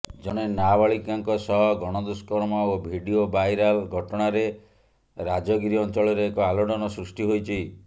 ଜଣେ ନାବାଳିକାଙ୍କ ସହ ଗଣଦୁଷ୍କର୍ମ ଓ ଭିଡିଓ ବାଇରାଲ ଘଟଣାରେ ରାଜଗୀର ଅଞ୍ଚଳରେ ଏକ ଆଲୋଡ଼ନ ସୃଷ୍ଟି ହୋଇଛି